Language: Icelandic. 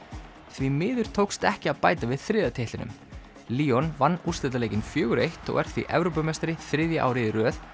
því miður tókst ekki að bæta við þriðja titlinum vann úrslitaleikinn fjóra eins og er því Evrópumeistari þriðja árið í röð